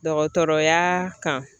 Dɔgɔtɔrɔya kan